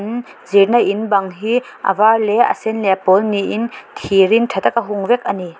hmm chenna in bang hi a var leh a sen leh a pawl niin thirin tha taka hung vek a ni.